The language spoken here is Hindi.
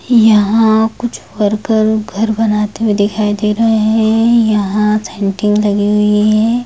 यहां कुछ वर्कर घर बनाते हुए दिखाई दे रहे हैं यहां सेटिंग लगी हुई है।